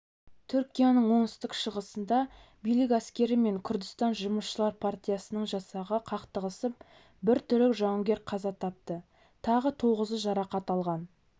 түркияның оңтүстік-шығысында билік әскері мен күрдістан жұмысшылар партиясының жасағы қақтығысып бір түрік жауынгер қаза тапты тағы тоғызы жарақат алған